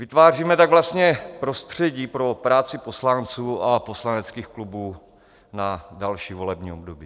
Vytváříme tak vlastně prostředí pro práci poslanců a poslaneckých klubů na další volební období.